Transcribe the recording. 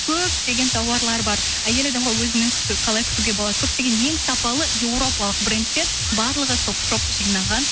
көптеген тауарлар бар әйел адамға өзінің қалай күтуге болады көптеген ең сапалы еуропалық брендтер барлығы топ шоп жинаған